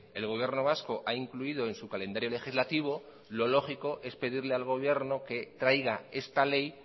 el gobierno vasco ha incluido en su calendario legislativo lo lógico es pedirle al gobierno que traiga esta ley